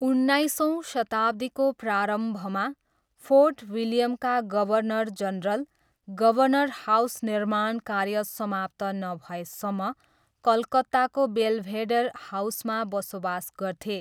उन्नाइसौँ शताब्दीको प्रारम्भमा, फोर्ट विलियमका गभर्नर जनरल, गभर्नर हाउस निर्माण कार्य समाप्त नभएसम्म, कलकत्ताको बेल्भेडेर हाउसमा बसोबास गर्थे।